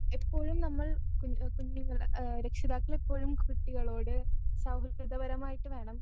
എപ്പോഴും നമ്മൾ കുഞ്ഞ് കുഞ്ഞുങ്ങളെ ഏ രക്ഷിതാക്കളെപ്പോഴും കുട്ടികളോട് സൗഹൃദപരമായിട്ട് വേണം